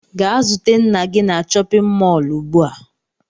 Gaa zute nna gi na chọpịn mọọlụ ugbua!